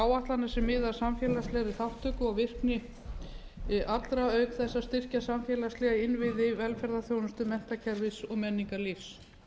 áætlanir sem miða að samfélagslegri þátttöku og virkni allra auk þess að styrkja samfélagslega innviði velferðarþjónustu menntakerfis og menningarlífs